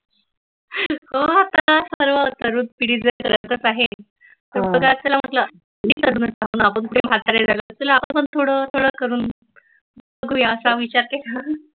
हो सर्व तरुण पिढी जर व्यस्तच आहे. करतच आहे तर चला म्हटल आपण कुठे म्हातारे झालोय आपण थोड थोड करुन बघुया असा विचार केला